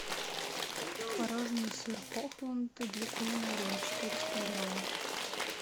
творожный сыр хохланд для кулинарии четыреста грамм